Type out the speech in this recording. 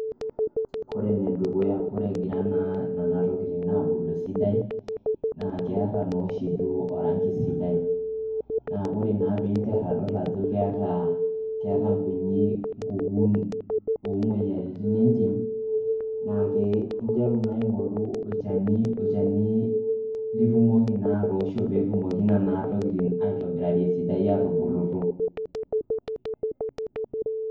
Kore ene dukuya kore egira naa nena tokitin aabulu esidai naa keeta naa oshi duo orangi sidai naa kore naa piinter adol ajo keeta keeta nkunyik kukun o moyiaritin entim, naake interu naa aing'oru olchani olchani litumoki naa atoosho pee etumoki nena tokitin aitobirari esidai aatubulu.